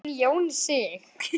Hogginn Jón Sig.